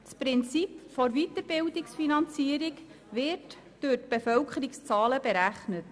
Das Prinzip der Weiterbildungsfinanzierung wird anhand der Bevölkerungszahlen berechnet.